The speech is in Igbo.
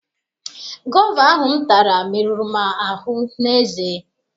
Gova ahụ m tara meruru m ahụ n'eze.